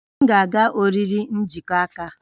M ga-aga oriri njikọ aka